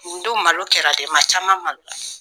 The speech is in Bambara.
Nin don malo kɛra dɛ, ma caman malo la.